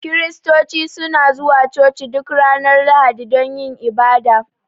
kiristoci suna zuwa coci duk Ranar lahadi dun yin ibada.